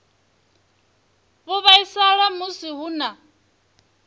vho vhaisala musi hu na